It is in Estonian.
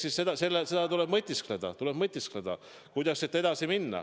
Nii et eks selle üle tuleb mõtiskleda, kuidas siit edasi minna.